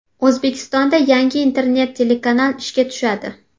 O‘zbekistonda yangi internet telekanal ishga tushadi.